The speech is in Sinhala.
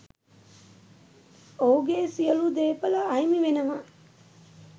ඔහුගේ සියලු දේපල අහිමි වෙනවා.